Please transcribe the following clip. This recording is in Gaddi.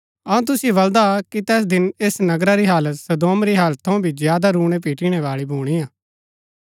अऊँ तुसिओ बलदा कि तैस दिन ऐस नगरा री हालत सदोम री हालत थऊँ भी ज्यादा रूणैपिटिणै बाळी भुणीआ